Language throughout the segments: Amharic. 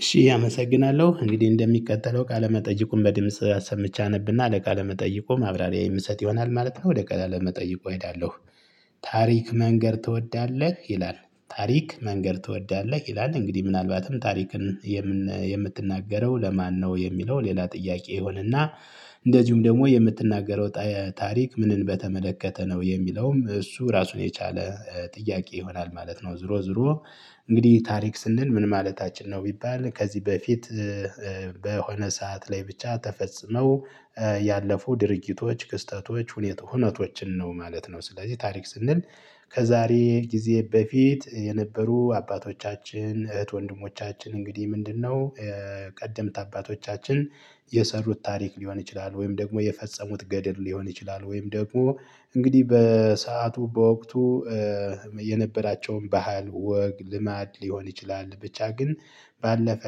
እሺ አመሰግናለሁ እንግዲህ እንደሚከተለው ቃለ መጠየቁን በድምጽ አሰምቼ አነብና ለቃለ መጠየቁ ማብራሪያ የምሰጥ ይሆናል ማለት ነው ወደ ቃለ መጠይቁ አሄዳለሁ። ታሪክ መንገር ትወዳለህ ይላል ታሪክ መንገር ትወዳለህ ይላል እንግዲህ ምናልባትም ታሪክን የምትናገረው ለማነው የሚለው ሌላ ጥያቄ ይሆንና። እንደዚሁም ደግሞ የምትናገረው ታሪክ ምንን በተመለከተ ነው የሚለውም እሱ ራሱን የቻለ ጥያቄ ይሆናል ማለት ነው። ዞሮ ዞሮ እንግዲህ ታሪክ ስንል ምን ማለታችን ነው? ቢባል ከዚህ በፊት በሆነ ሰዓት ላይ ብቻ ተፈጽመው ያለፉ ድርጊቶች ክስተቶች ሁኔታ ሁነተችን ነው ማለት ነው። ስለዚህ ታሪክ ስንል ከዛሬ ጊዜ በፊት የነበሩ አባቶቻችን እህት ወንድሞቻችን እንግዲህ ምንድነው ቀደምት አባቶቻችን የሰሩት ታሪክ ሊሆን ይችላል። ወይም ደግሞ የፈጸሙት ገድል ሊሆን ይችላል ወይም ደግሞ እንግዲህ በሰአቱ በወቅቱ የነበራቸውን ባህል ወግ ልማድ ሊሆን ይችላል። ብቻ ግን ባለፈ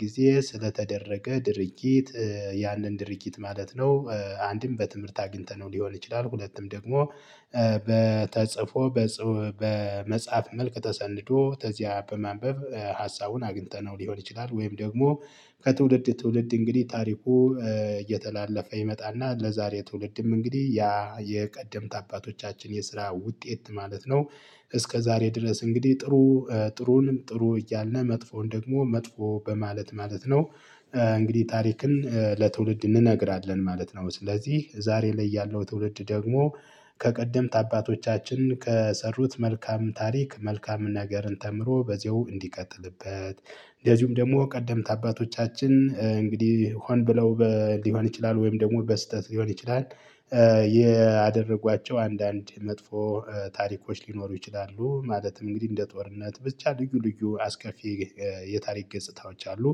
ጊዜ ስለተደረገ ድርጊት ያንን ድርጊት ማለት ነው። አንድም በትምህርት አግኝተነው ሊሆን ይችላል ሁለትም ደግሞ በ ተጽፎ በመጽሐፍ መልክ ተሰንዶ ተዚያ በማንበብ ሀሳቡን አግኝተነው ሊሆን ይችላል። ወይም ደግሞ ከትውልድ ትውልድ እንግዲህ ታሪኩ እየተላለፈ ይመጣና ለዛሬ ትውልድም እንግዲህ ያ የቀድምት አባቶቻችን የስራ ውጤት ማለት ነው። እስከዛሬ ድረስ እንግዲህ ጥሩ ጥሩንም ጥሩ እያልነ መጥፎን ደግሞ መጥፎ በማለት ማለት ነው። እንግዲህ ታሪክን ለትውልድ እንነግራለን ማለት ነው። ስለዚህ ዛሬ ላይ ያለው ትውልድ ደግሞ ከቀደምት አባቶቻችን ከሰሩት መልካም ታሪክ መልካም ነገርን ተምሮ በዚያው እንዲቀጥልበት። እንደዚሁም ደግሞ ቀደምት አባቶቻችን እንግዲህ ሆን ብለው ሊሆን ይችላል ወይም ደግሞ በስህተት ሊሆን ይችላል። ያደረጓቸው አንዳንድ መጥፎ ታሪኮች ሊኖሩ ይችላሉ ማለትም እንግዲህ እንደ ጦርነት ብቻ ልዩ ልዩ አስከፊ የታሪክ ገጽታዎች አሉ።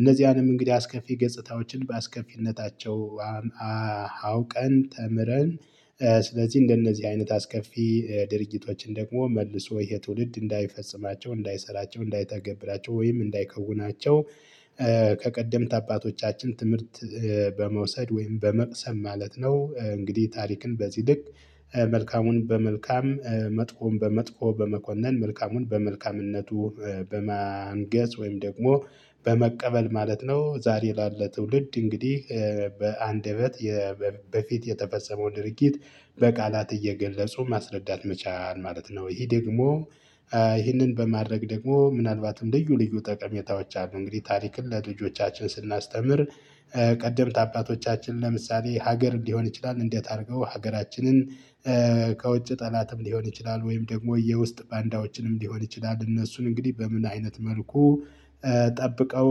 እነዚያንም እንግዲህ አስከፊ ገጽታዎችን በአስከፊነታቸው አውቀን ተምረን ስለዚህ እንደነዚህ አይነት አስከፊ ድርጊቶችን ደግሞ መልሶ ይሄ ትውልድ እንዳይፈጽማቸው እንዳይሰራቸው እንዳይተገብራቸው ወይም እንዳይከውናቸው። ከቀደምት አባቶቻችን ትምህርት በመውሰድ ወይም በመቅሰም ማለት ነው። እንግዲህ ታሪክን በዚህ ልክ መልካሙን በመልካም መጥፎም በመጥፎ በመኮነን መልካሙን በመልካምነቱ በማንገስ ወይም ደግሞ በመቀበል ማለት ነው። ዛሬ ላለ ትውልድ እንግዲህ በአንደበት በፊት የተፈጸመው ድርጊት በቃላት እየገለጹ ማስረዳት መቻል ማለት ነው። ይሄ ደግሞ ይህንን በማድረግ ደግሞ ምናልባትም ደግሞ ልዩ ልዩ ጠቀሜታዎች አሉ እንግዲህ ታሪክን ለልጆቻችን ስናስተምር። ቀደምት አባቶቻችን ለምሳሌ ሀገር እንዲሆን ይችላል እንዴት አድርገው ሀገራችንን ከውጭ ጠላትም ሊሆን ይችላል ወይም ደግሞ የውስጥ ባንዳዎችንም ሊሆን ይችላል እነሱን እንግዲህ በምን አይነት መልኩ? ጠብቀው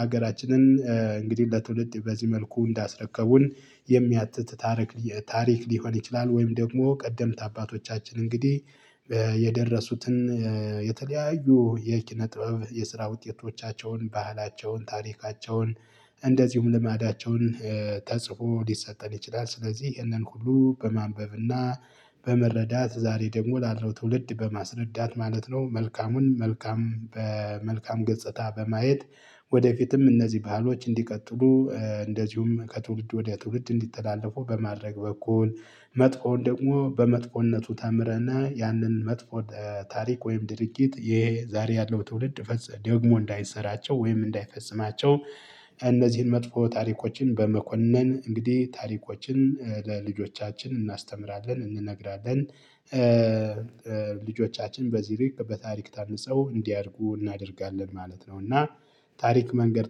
ሀገራችንን እንግዲህ ለትውልድ በዚህ መልኩ እንዳስረከቡን የሚያትት ታረክ ታሪክ ሊሆን ይችላል። ወይም ደግሞ ቀደምት አባቶቻችን እንግዲህ የደረሱትን የተለያዩ የኪነ ጥበብ የስራ ውጤቶቻቸውን ባህላቸውን ታሪካቸውን እንደዚሁም ልማዳቸውን ተጽፎ ሊሰጠን ይችላል። ስለዚህ ይህንን ሁሉ በማንበብና በመረዳት ዛሬ ደግሞ ላለው ትውልድ በማስረዳት ማለት ነው። መልካሙን መልካም በመልካም ገጽታ በማየት ወደፊትም እነዚህ ባህሎች እንዲቀጥሉ እንደዚሁም ከትውልድ ወደ ትውልድ እንዲተላለፉ በማድረግ በኩል። መጥፎዉን ደግሞ በመጥፎነቱ ተምረነ ያንን መጥፎ ታሪክ ወይም ድርጊት ይሄ ዛሬ ያለው ትውልድ ፈጸመ ደግሞ እንዳይሰራቸው ወይም እንዳይፈጽማቸው። እነዚህን መጥፎ ታሪኮችን በመኮነን እንግዲህ ታሪኮችን ለልጆቻችን እናስተምራለን እንነግራለን። ልጆቻችን በዚህ ልክ በታሪክ ታንጸው እንዲያድጉ እናደርጋለን ማለት ነው። እና ታሪክ መንገር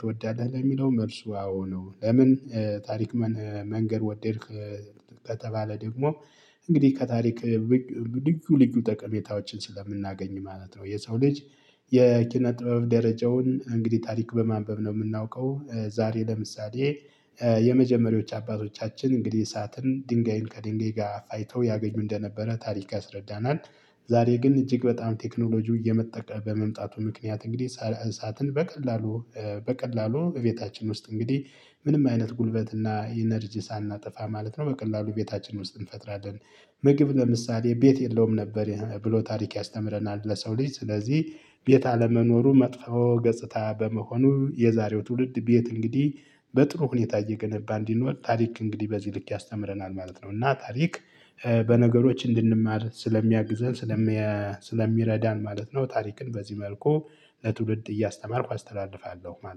ትወዳለህ ለሚለው መልሱ አዎ ነው። ለምን ታሪክ መንገር ወደድክ? ከተባለ ደግሞ እንግዲህ ከታሪክ ልዩ ልዩ ጠቀሜታዎችን ስለምናገኝ ማለት ነው። የሰው ልጅ የኪነ ጥበብ ደረጃውን እንግዲህ ታሪክ በማንበብ ነው የምናውቀው። ዛሬ ለምሳሌ የመጀመሪያዎቹ አባቶቻችን እንግዲህ እሳትን ድንጋይን ከድንጋይ ጋር ፋይተው ያገኙ እንደነበረ ታሪክ አስረዳናል። ዛሬ ግን እጅግ በጣም ቴክኖሎጂው እየመጠቀ በመምጣቱ ምክንያት እንግዲህ ሳላህ እሳትን በቀላሉ በቀላሉ እቤታችን ውስጥ እንግዲህ ምንም አይነት ጉልበትና ኢነርጂ ሳናጠፋ ማለት ነው በቀላሉ በቤታችን ውስጥ እንፈጥራለን። ምግብ ለምሳሌ ቤት የለውም ነበር ብሎ ታሪክ ያስተምረናል። ለሰው ልጅ ስለዚህ ቤት አለመኖሩ መጥፎ ገጽታ በመሆኑ የዛሬው ትውልድ ቤት እንግዲህ በጥሩ ሁኔታ እየገነባ እንዲኖር ታሪክ እንግዲህ በዚህ ልክ ያስተምረናል ማለት ነው። እና ታሪክ በነገሮች እንድንማር ስለሚያግዘን ስለሚረዳን ማለት ነው። ታሪክን በዚህ መልኩ ለትውልድ እያስተማርኩ አስተላልፋለሁ ማለት ነው